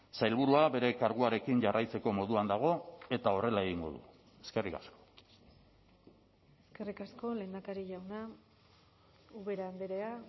sailburua bere karguarekin jarraitzeko moduan dago eta horrela egingo du eskerrik asko eskerrik asko lehendakari jauna ubera andrea